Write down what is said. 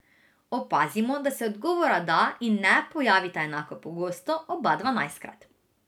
Opazimo, da se odgovora da in ne pojavita enako pogosto, oba dvanajstkrat.